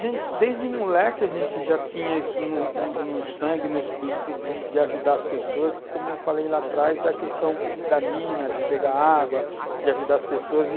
a gente, porque desde moleque a gente já tinha isso no no sangue, no espírito de de ajudar as pessoas, como eu falei lá atrás da questão da mina, de pegar água, de ajudar as pessoas e,